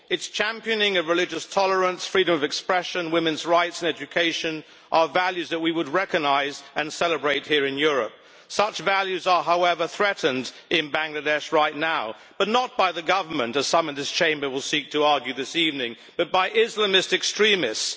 Its championing of religious tolerance, freedom of expression, women's rights and education, are values that we would recognise and celebrate here in Europe. Such values are, however, threatened in Bangladesh right now but not by the government, as some in this Chamber will seek to argue this evening, but by Islamist extremists.